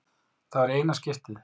Það var í eina skiptið.